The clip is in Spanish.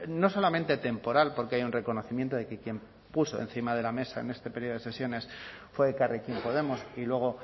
no solamente temporal porque hay un reconocimiento de que quien puso encima de la mesa en este periodo de sesiones fue elkarrekin podemos y luego